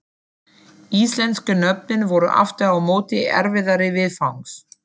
Íslensku nöfnin voru aftur á móti erfiðari viðfangs.